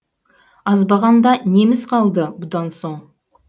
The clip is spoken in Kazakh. азбағанда неміз қалды бұдан соң